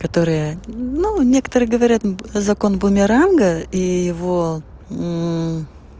которая ну некоторые говорят закон бумеранга и его